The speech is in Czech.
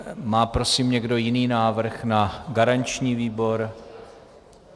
Má prosím někdo jiný návrh na garanční výbor?